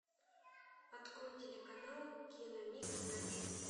открой телеканал киномикс на тиви